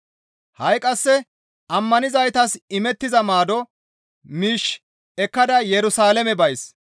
Ha7i qasse ammanizaytas imettiza maado miish ekkada Yerusalaame bays.